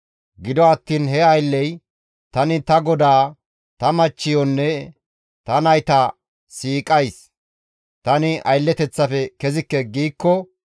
Gido attiin he aylley, ‹Tani ta godaa, ta machchiyonne ta nayta siiqays; tani aylleteththafe kezikke› giikko,